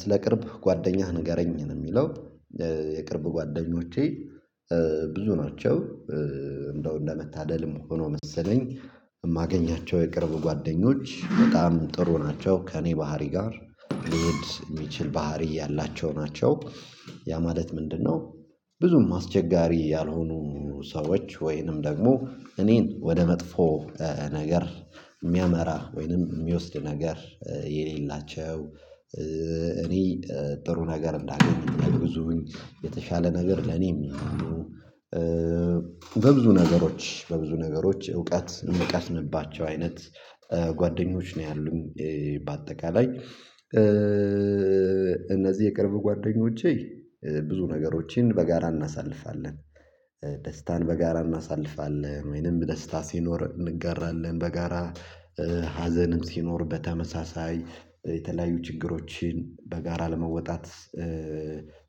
ስለ ቅርብ ጓደኛህ ንገረኝ ነው የሚለው? የቅርብ ጓደኞቼ ብዙ ናቸው። እንደው እንደመታደልም ሆኖ መሰለኝ የማገኛቸው የቅርብ ጓደኞች በጣም ጥሩ ናቸው። ከእኔ ባህሪ ጋር ሊሄድ የሚችል ባህሪ ያላቸው ናቸው። ያ ማለት ምንድነው? ብዙም አስቸጋሪ ያልሆኑ ሰዎች ወይንም ደግሞ እኔን ወደ መጥፎ ነገር የሚያመራ ወይንም የሚወስድ ነገር የሌላቸው። እኔ ጥሩ ነገር እንዳገኘኝ ብዙ የተሻለ ነገር ለኔም። በብዙ ነገሮች በብዙ ነገሮች እውቀት የምቀስምባቸው አይነት ጓደኞች ነው ያሉኝ። በአጠቃላይ እነዚህ የቅርብ ጓደኞቼ ብዙ ነገሮችን በጋራ እናሳልፋለን። ደስታን በጋራ እናሳልፋለን ወይንም ደስታ ሲኖር እንጋራለን በጋራ ሀዘንም ሲኖር በተመሳሳይ የተለያዩ ችግሮችን በጋራ ለመወጣት።